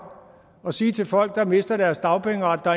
at sige til folk der mister deres dagpengeret at der